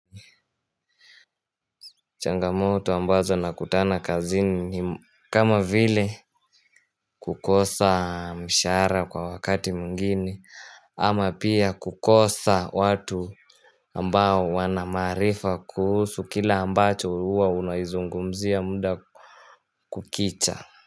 Changamoto ambazo nakutana kazini ni kama vile kukosa mshahara kwa wakati mwingine ama pia kukosa watu ambao wanamaarifa kuhusu kile ambacho huwa unaizungumzia muda kukicha.